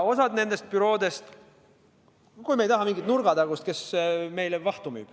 Me ei taha mingit nurgatagust bürood, kes meile vahtu müüb.